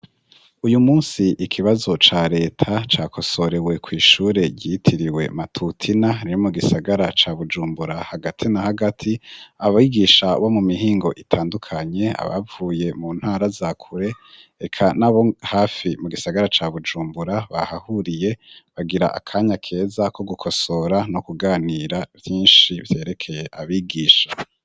Uyu munsi ikibazo ca leta ca kosorewe ku ishure ryitiriwe matutina riri mu gisagara cya bujumbura hagati na hagati abigisha bo mu mihingo itandukanye abavuye mu ntara za kure reka n'abo hafi mu gisagara ca Bujumbura bahahuriye bagira akanya keza ko gukosora no kuganira vyinshi byerekeye abigisha.